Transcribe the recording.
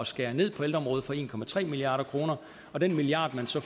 skære ned på ældreområdet for en milliard kr og den milliard man så